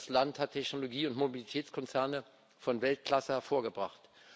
Das Land hat Technologie und Mobilitätskonzerne von Weltklasse hervorgebracht.